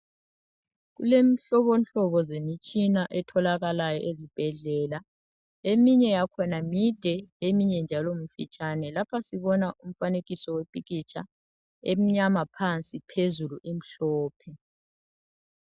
Kulomhlobo hlobo zemitshina etholakala ezibhedlela, eminye yakhona mide eminye njalo mfitshane, lapha sibona umfanekiso wepikitsha emnyama phansi phezulu imhlophe.